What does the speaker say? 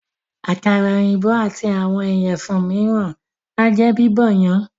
Àkàrà èyìnbó àti àwọn ìyẹ̀fun míràn ájẹ́ Bíbọ̀ yan.